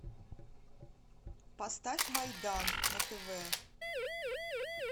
поставь майдан на тв